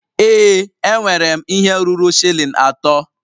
Ee enwere m ihe ruru shilling atọ.